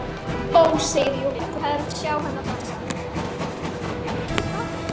Ó, segir Júlía, þú hefðir átt að sjá hana dansa!